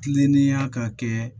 Kilennenya ka kɛ